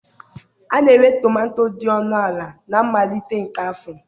A na-ere tomato dị ọnụ ala na mmalite nke afọ.